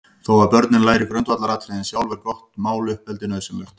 Þó að börnin læri grundvallaratriðin sjálf, er gott máluppeldi nauðsynlegt.